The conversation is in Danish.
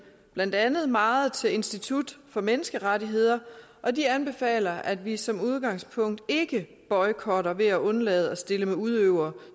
blandt andet meget til institut for menneskerettigheder og de anbefaler at vi som udgangspunkt ikke boykotter ved at undlade at stille med udøvere